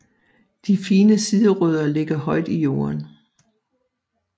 De fine siderødder ligger højt i jorden